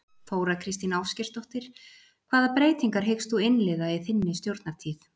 Þóra Kristín Ásgeirsdóttir: Hvaða breytingar hyggst þú innleiða í þinni stjórnartíð?